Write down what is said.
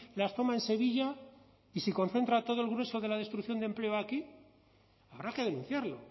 las toma en sevilla y si concentra todo el grueso de la destrucción de empleo aquí habrá que denunciarlo